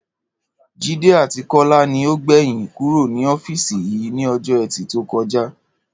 Jídé àti Kó̩lá ni ó gbè̩yìn kúrò ní ó̩fíìsì yìí ní o̩jó̩ E̩tì tó ko̩ja